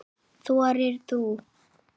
Þorir þú?